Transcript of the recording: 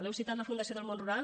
heu citat la fundació del món rural